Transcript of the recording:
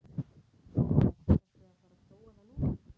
Jóhannes: Ertu að fara að prófa það núna?